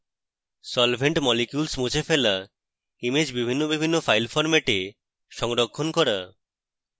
solvent molecules মুছে ফেলা image ভিন্ন ভিন্ন file ফরম্যাটে সংরক্ষণ করা